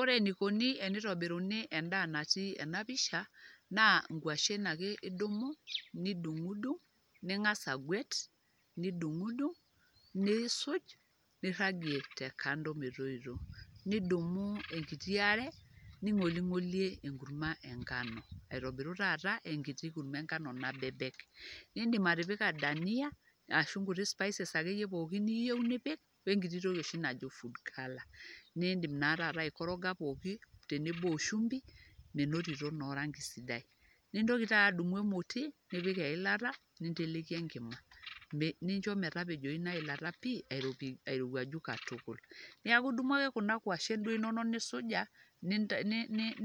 Ore enikuni enitobiruni endaa natii ena pishaa naa nkwashen ake idumu nidung'dung' ning'asa agwet nidung'dung', niisuj niragie te kando metoito. Nidumu enkiti are ning'oling'olie enkurma eng'ano aitobiru taata enkiti kurma eng'ano nabebek. Iindim atipika dania ashu nkuti spices akeyie pookin niyeu nipik we nkiti toki oshi najo food color, niindim naa taata aikoroga pookin tenebo o shumbi menotito naa orang'i sidai. Nintoki taa adumu emoti nipik eilata ninteleki enkima ninjo metapejoyu ina ilata pii airopi airowuaju katukul. Neeku idumu ake kuna kwashen duake duo inonok nisuja,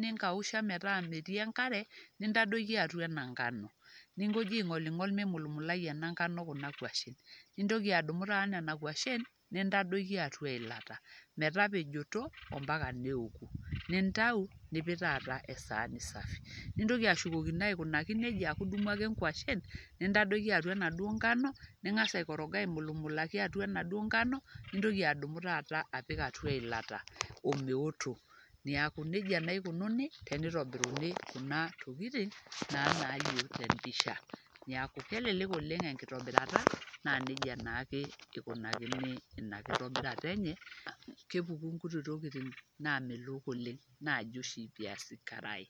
ninkausha metaa metii enkare, nintadoiki atua ena ng'ano ning'oji aing'oling'ol mimulmulai ena ng'ano kuna kwashen, nintoki adumu taata nena kwashen nintadoiki atau eilata metapejoto o mpaka neoku nintayu nipik taata esaani safi. Nintoki ashukokino aikunaki neja aaku idumu ake nkwashen nintadoiki atua enaduo ng'ano, ning'asa aikoroga aimulmulaki atua enaduo ngano, nintoki adumu taata apik atua eilata o meoto. Neeku neija naa ikununi tenitobiruni kuna tokitin naa nalio te mpisha. Neeku kelelek oleng' enkitobirata naa neija naake ikunakini ina kitobirata enye, kepuku nkuti tokitin naamelok oleng' naaji oshi viazi karai